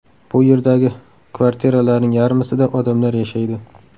Bu yerdagi kvartiralarning yarmisida odamlar yashaydi.